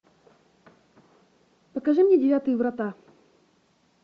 покажи мне девятые врата